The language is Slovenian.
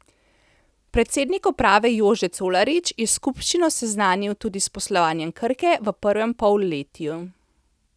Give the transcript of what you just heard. Predsednik uprave Jože Colarič je skupščino seznanil tudi s poslovanjem Krke v prvem polletju.